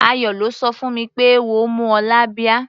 Ayọ̀ ló sọ fún mi pé eéwo mú ọ lábíá.